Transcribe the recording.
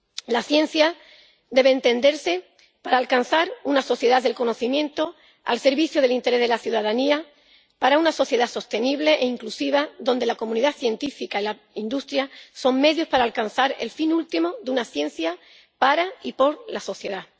La ciencia debe servir para alcanzar una sociedad del conocimiento al servicio del interés de la ciudadanía, una sociedad sostenible e inclusiva en la que la comunidad científica y la industria son medios para alcanzar el fin último de una ciencia para y por la sociedad.